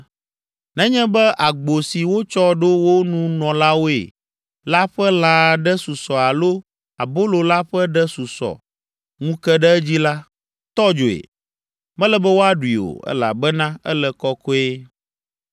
Nenye be agbo si wotsɔ ɖo wo nunɔlawoe la ƒe lã aɖe susɔ alo abolo la ƒe ɖe susɔ ŋu ke ɖe edzi la, tɔ dzoe. Mele be woaɖui o, elabena ele kɔkɔe.